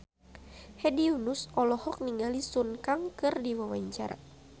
Hedi Yunus olohok ningali Sun Kang keur diwawancara